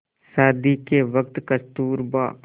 शादी के वक़्त कस्तूरबा